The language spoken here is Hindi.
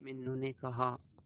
मीनू ने कहा